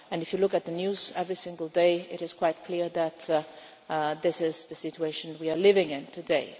if you look at the news every single day it is quite clear that this is the situation we are living in today.